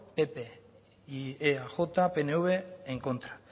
pp y eaj pnv en contra